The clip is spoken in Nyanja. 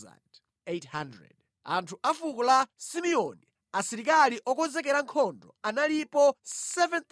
Anthu a fuko la Simeoni, asilikali okonzekera nkhondo analipo 7,100;